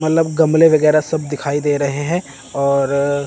मतलब गमले वगैरह सब दिखाई दे रहे हैं और--